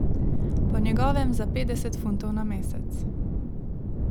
Po njegovem za petdeset funtov na mesec.